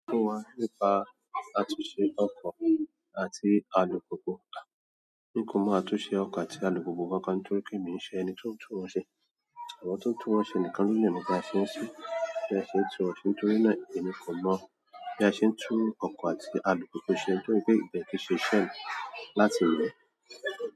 Nípa àtúnṣe ọkọ àti alùpùpù. Ni kò mọ àtúnṣe ọkọ àti alùpùpù kankan nítorí pé mi kìí ṣe ẹni tí o ń tuwọn ṣe. Àwọn tí o ń tuwọn ṣe nìkan ni o lè mọ nípa bí a ṣe ń ṣe, bí a ṣe ń tuwọn ṣe, nítorí náà èmi kò mọ bí a ṣe ń tú ọkọ àti alùpùpù ṣe nítorí pé ibẹ̀ kì ṣe iṣẹmi láti mọ.